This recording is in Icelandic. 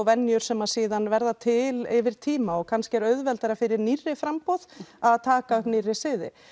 venjur sem síðar verða til yfir tíma og kannski er auðveldara fyrir nýrri framboð að taka upp nýrri siði